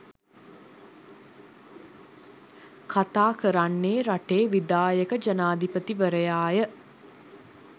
කථා කරන්නේ රටේ විධායක ජනාධිපතිවරයාය.